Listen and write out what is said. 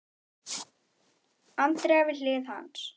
Andrea við hlið hans.